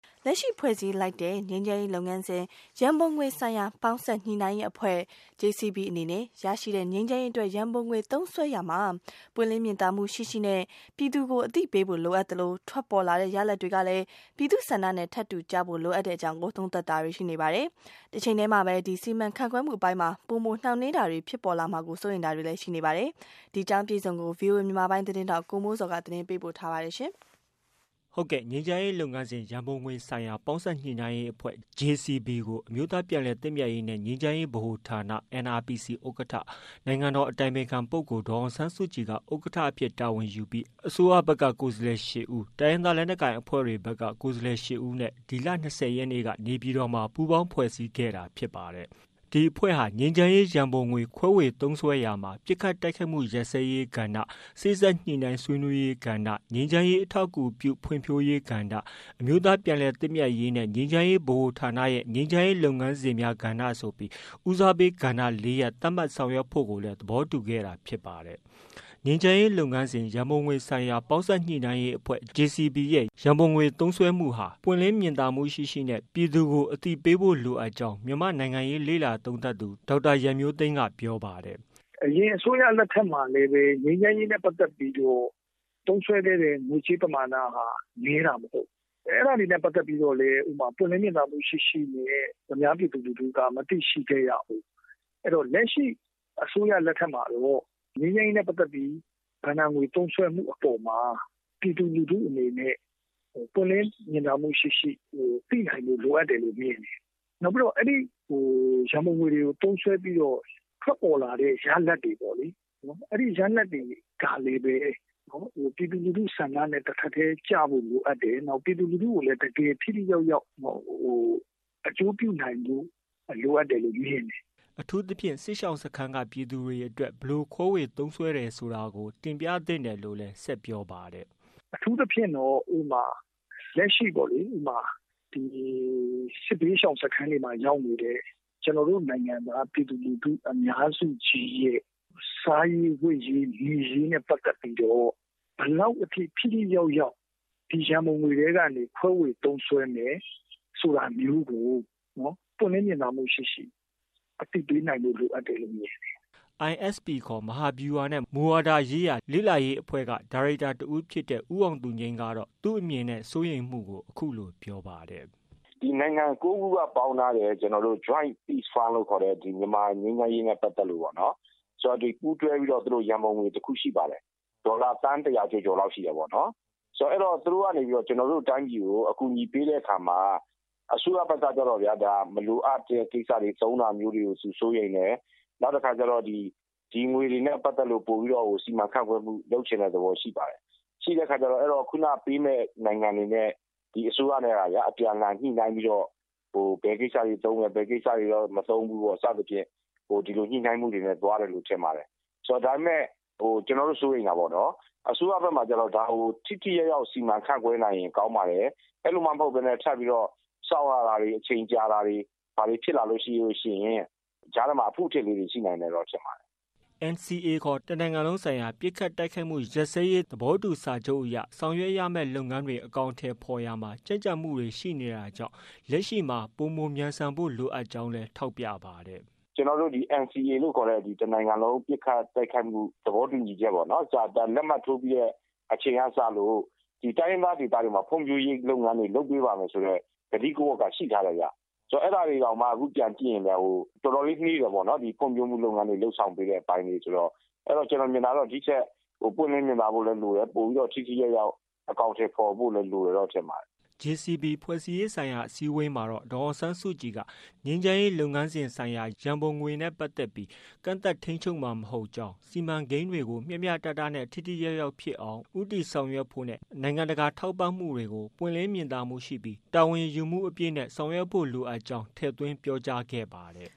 လက်ရှိဖွဲ့စည်းလိုက်တဲ့ ငြိမ်းချမ်းရေးလုပ်ငန်းစဉ် ရန်ပုံငွေဆိုင်ရာပေါင်းစပ်ညှိနှိုင်းရေးအဖွဲ့ အနေနဲ့ ရရှိတဲ့ ငြိမ်းချမ်းရေးအတွက် ရန်ပုံငွေသုံးစွဲရာမှာ ပွင့်လင်းမြင်သာမှုရှိရှိ နဲ့ ပြည်သူကို အသိပေးဖို့ လိုအပ်သလို ထွက်ပေါ်လာတဲ့ ရလဒ်တွေကလည်း ပြည်သူ့ဆန္ဒနဲ့ ထပ်တူကျဖို့ လိုအပ်ကြောင်း သုံးသပ်တွေရှိနေပါတယ်။ တချိန်တည်းမှာပဲ စီမံခန့်ခွဲမှုအပိုင်းမှာ ပိုမိုနှောင့်နှေးတာတွေဖြစ်ပေါ်လာမှာကို စိုးရိမ်တာတွေလည်း ရှိနေပါတယ်။ ဒီသတင်းကိုတော့ ဗွီအိုအေမြန်မာပိုင်းရဲ့သတင်းထောက်ကိုမိုးဇော်က တင်ပြထားပါတယ်။ ငြိမ်းချမ်းရေးလုပ်ငန်းစဉ် ရန်ပုံငွေဆိုင်ရာပေါင်းစပ်ညှိနှိုင်းရေးအဖွဲ့ ကို အမျိုးသားပြန်လည်သင့်မြတ်ရေးနဲ့ ငြိမ်းချမ်းရေးဗဟိုဌာန ဥက္ကဌ၊ နိုင်ငံတော်အတိုင်ပင်ခံပုဂ္ဂိုလ်ဒေါ်အောင်ဆန်းစုကြည်က ဥက္ကဌအဖြစ် တာဝန်ယူပြီး အစိုးရကိုယ်စားလှယ် ၈ဦး နဲ့ တိုင်းရင်းသားလက်နက်ကိုင်အဖွဲ့ကိုယ်စားလှယ်၈ဦးတို့နဲ့ ဒီလ ၂၀ရက်နေ့က နေပြည်တော်မှာ ပူးပေါင်းဖွဲ့စည်းခဲ့တာဖြစ်ပါတယ်။ ဒီအဖွဲ့က ငြိမ်းချမ်းရေးရန်ပုံငွေခွဲဝေသုံးစွဲရာမှာ ပစ်ခတ်တိုက်ခိုက်မှုရပ်စဲရေးကဏ္ဍ၊ စေ့စပ်ညှိနှိုင်းဆွေးနွေးရေးကဏ္ဍ၊ ငြိမ်းချမ်းရေးအထောက်အကူပြုဖွံ့ဖြိုးရေးကဏ္ဍ၊ အမျိုးသားပြန်လည်သင့်မြတ်ရေးနဲ့ ငြိမ်းချမ်းရေးဗဟိုဌာနရဲ့ ငြိမ်းချမ်းရေးလုပ်ငန်းစဉ်များ ကဏ္ဍဆိုပြီး ဦးစားပေးကဏ္ဍ ၄ရပ်သတ်မှတ်ဆောင်ရွက်ဖို့လည်း သဘောတူခဲ့တာဖြစ်ပါတယ်။ ငြိမ်းချမ်းရေးလုပ်ငန်းစဉ် ရန်ပုံငွေဆိုင်ရာပေါင်းစပ်ညှိနှိုင်းရေးအဖွဲ့ အဖွဲ့ရဲ့ ရန်ပုံငွေသုံးစွဲမှုဟာ ပွင့်လင်းမြင်သာမှုရှိရှိ ပြည်သူကို အသိပေးဖို့ လိုအပ်ကြောင်း မြန်မာနိုင်ငံရေးလေ့လာသုံးသပ်သူ ဒေါက်တာရန်မျိုးသိမ်းက ပြောပါတယ်။ “အရင်အစိုးရလက်ထက်မှာလည်း ငြိမ်းချမ်းရေးနဲ့ ပတ်သက်ပြီးတော့ သုံးစွဲခဲ့တဲ့ ငွေကြေးပမာဏဟာ နည်းတာမဟုတ်ဘူး အဲဒါတွေနဲ့ ပတ်သက်ပြီးတော့လည်း ပွင့်လင်းမြင်သာမှုရှိရှိနဲ့ အများပြည်သူလူထုက မသိရှိခဲ့ရဘူး။ အဲဒီတော့ လက်ရှိအစိုးရလက်ထက်မှာတော့ ငြိမ်းချမ်းရေးနဲ့ ပတ်သက်ပြီး ဘဏ္ဍာငွေသုံးစွဲမှုအပေါ်မှာ ပြည်သူလူထုအနေနဲ့ သုံးစွဲမှုအပေါ်မှာ ပြည်သူလူထုအနေနဲ့ပွင့်လင်းမြင်သာမှုရှိရှိ သိနိုင်ဖို့ လိုအပ်တယ်လို့ မြင်တယ်။ နောက်ပြီးတော့ အဲဒီရန်ပုံငွေတွေကို သုံးစွဲပြီးတော့ ထွက်ပေါ်လာတဲ့ ရလဒ်တွေပေါ့လေ ၊ အဲဒီ ရလဒ်တွေကလည်း ပြည်သူလူထုဆန္ဒနဲ့ တထပ်တည်းကျဖို့ လိုအပ်တယ်။ နောက်ပြည်သူလူထုကိုလည်း တကယ်ထိထိရောက်ရောက် အကျိုးပြုနိုင်ဖို့ လိုအပ်တယ်လို့ မြင်တယ်။” အထူးသဖြင့် စစ်ရှောင်စခန်းက ပြည်သူတွေအတွက် ဘယ်လို သုံးစွဲတယ်ဆိုတာကို တင်ပြသင့်ကြောင်းလည်း ဆက်ပြောပါတယ်။ “အထူးသဖြင့်အခုလက်ရှိပေါ့လေ စစ်ဘေးရှောင်စခန်းတွေမှာရောက်နေတဲ့ ကျနော်တို့ ပြည်သူလူထုအများစုရဲ့ စားရေးဝတ်ရေးနေရေးနဲ့ ပတ်သက်ပြီးတော့ ဘယ်လောက်အထိ ထိထိရောက်ရောက် ဒီရန်ပုံငွေထဲကနေ ခွဲဝေသုံးစွဲမယ်ဆိုတာမျိုးကို ပွင့်လင်းမြင်သာမှုရှိရှိအသိပေးနိုင်ဖို့ လိုအပ်တယ်လို့ မြင်တယ်။” ISP ခေါ် မဟာဗျူဟာနဲ့ မူဝါဒရေးရာလေ့လာရေးအဖွဲ့က ဒါရိုက်တာတဦးဖြစ်တဲ့ ဦးအောင်သူငြိမ်း ကတော့ သူ့အမြင်နဲ့ စိုးရိမ်မှုကို အခုလို ပြောပါတယ်။ “နိုင်ငံ ၉ ခုကပေါင်းထားတဲ့ Joint Peace Fund လို့ခေါ်တဲ့ မြန်မာငြိမ်းချမ်းရေးနဲ့ ပတ်သက်လို့ ပူးတွဲပြီးတော့ ရန်ပုံငွေတခုရှိပါတယ်။ ဒေါ်လာသန်း ၁၀၀ ကျော်လောက်ရှိတယ်ပေါ့နော်။ ဆိုတော့ သူတို့ကနေပြီးတော့ ကျနော်တို့ တိုင်းပြည်ကို အကူအညီပေးတဲ့အခါမှာ အစိုးရဘက်ကတော့ မလိုအပ်ပဲ သုံးတဲ့ ကိစ္စမျိုးကို စိုးရိမ်တယ်၊ နောက် ဒီငွေတွေနဲ့ ပတ်သက်ပြီးတော့ စီမံခန့်ခွဲမှုလုပ်ချင်တဲ့ သဘောရှိတယ်။ ရှိတဲ့အခါကျတော့ ခုနပေးမယ့် နိုင်ငံတွေနဲ့ ဒီအစိုးရနဲ့ အပြန်အလှန်ညှိနှိုင်းပြီးတော့ ဘယ်ကိစ္စတွေတော့ သုံးမယ်၊ ဘယ်ကိစ္စတွေကတော့ မသုံးဘူးပေါ့နော်၊ စသဖြင့် ဒီလိုညှိနှိုင်းမှုတွေနဲ့ သွားတယ်လို့ ထင်ပါတယ်။ ဒါပေမယ့် ကျနော်တို့ စိုးရိမ်တာပေါ့နော်၊ အစိုးရဘက်မှာ ဒါကို ထိထိရောက်ရောက် စီမံခန့်ခွဲနိုင်ရင်ကောင်းပါတယ်၊ အဲလိုမှမဟုတ်ပဲနဲ့ ထပ်ပြီးတော့ စောင့်ရတာတွေ၊ အချိန်ကြာတာတွေဖြစ်လာရင်တော့ ကြားထဲမှာ အဖုအထစ်တွေရှိနိုင်မယ်လို့ထင်ပါတယ်။” NCA ခေါ် တနိုင်ငံလုံးဆိုင်ရာပစ်ခတ်တိုက်ခိုက်မှုရပ်စဲရေးဆိုင်ရာသဘောတူညီချက်အရ ဆောင်ရွက်ရမယ့် လုပ်ငန်းတွေအကောင်အထည်ဖော်ရာမှာ ကြန့်ကြာမှုတွေရှိနေတာကြောင့် လက်ရှိမှာ ပိုမိုမြန်ဆန်ဖို့လိုကြောင်း လည်း ထောက်ပြပါတယ်။ “ကျနော်တို့ NCA လို့ ခေါ်တဲ့ တနိုင်ငံလုံးဆိုင်ရာ ပစ်ခတ်တိုက်ခိုက်မှုရပ်စဲရေးဆိုင်ရာ သဘောတူညီချက် လက်မှတ်ထိုးပြီးတဲ့အချိန်ကစလို့ တိုင်းရင်းသား ဒေသတွရဲ့ဖွံဖြိုးရေးလုပ်ပေးပါမယ်ဆိုတဲ့ ကတိက ရှိထားတယ်ခင်ဗျ။ အဲဒါတွေတောင်မှ ပြန်ပြီးတော့ကြည့်ရင် တော်တော်လေးနှေးနေသေးတယ်ပေါ့နော် ဖွံဖြိုးရေးလုပ်ငန်းတွေလုပ်ဆောင်ပေးတဲ့ အပိုင်းတွေဆိုတော့ ကျနော်မြင်တာကတော့ ဒီထက်ပိုပြီးတော့ ပွင့်လင်းမြင်သာဖို့လည်းလိုတယ်၊ ပိုပြီးတော့ ထိထိရောက်ရောက် အကောင်အထည်ဖော်ဖို့လည်းလိုတယ်လို့ ထင်ပါတယ်။” JCB ဖွဲ့စည်းရေးဆိုင်ရာအစည်းအဝေးမှာတော့ ဒေါ်အောင်ဆန်းစုကြည်က ငြိမ်းချမ်းရေးလုပ်ငန်းစဉ်ဆိုင်ရာရန်ပုံငွေနဲ့ပတ်သက်ပြီး ကန့်သတ်ထိန်းချုပ်မှာမဟုတ်ကြောင်း၊ စီမံကိန်းတွေကို မျှမျှတတနဲ့ ထိထိရောက်ရောက်ဖြစ်အောင် ဦးတည်ဆောင်ရွက်ဖို့နဲ့ နိုင်ငံတကာထောက်ပံမှုတွေကို ပွင့်လင်းမြင်သာမှုရှိပြီး တာဝန်ယူမှုအပြည့်နဲ့ဆောင်ရွက်ဖို့ကို ထည့်သွင်းပြောကြားထားပါတယ်